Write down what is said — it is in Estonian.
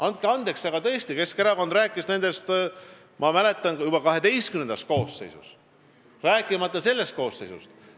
Andke andeks, aga ma mäletan, et Keskerakond tõesti rääkis nendest juba XII koosseisus, rääkimata sellest koosseisust.